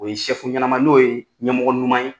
O ye ɲɛnama n'o ye ɲɛmɔgɔ ɲuman ye.